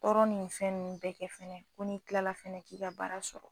Tɔɔrɔ ni fɛn nunnu bɛɛ kɛ fɛnɛ ko ni kilala fɛnɛ k'i ka baara sɔrɔ